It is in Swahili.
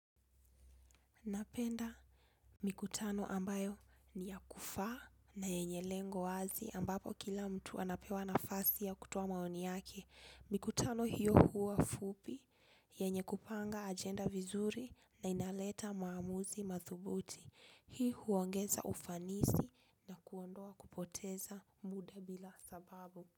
Napenda mikutano ambayo ni ya kufaa na yenye lengo wazi ambapo kila mtu anapewa nafasi ya kutoa maoni yake. Napenda mikutano ambayo ni ya kufaa na yenye lengo wazi ambapo kila mtu anapewa nafasi ya kutoa maoni yake. Hii huongeza ufanisi na kuondoa kupoteza muda bila sababu.